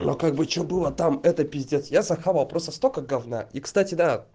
а как бы что было там это пиздец я захавал просто столько говна и кстати да